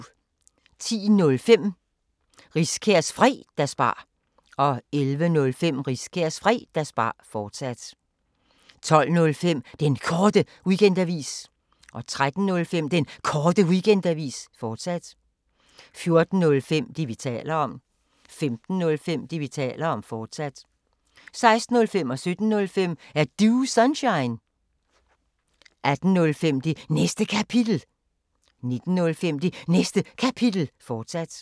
10:05: Riskærs Fredagsbar 11:05: Riskærs Fredagsbar, fortsat 12:05: Den Korte Weekendavis 13:05: Den Korte Weekendavis, fortsat 14:05: Det, vi taler om 15:05: Det, vi taler om, fortsat 16:05: Er Du Sunshine? 17:05: Er Du Sunshine? 18:05: Det Næste Kapitel 19:05: Det Næste Kapitel, fortsat